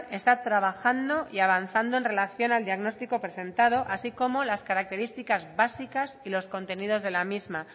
está trabajando y avanzando en relación al diagnóstico presentado así como las características básicas y los contenidos de la misma